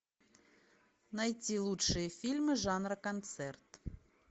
найти лучшие фильмы жанра концерт